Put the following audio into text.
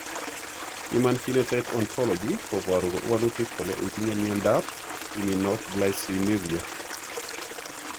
Human Phenotype Ontology koporu wolutik kole itinye Miondap Iminoglycinuria?